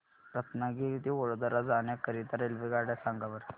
रत्नागिरी ते वडोदरा जाण्या करीता रेल्वेगाड्या सांगा बरं